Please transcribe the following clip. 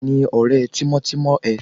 Tani ọ̀rẹ́ tímọ́tímọ́ ẹ?